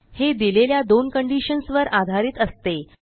हे दिलेल्या दोन कंडिशन्स वर आधारित असते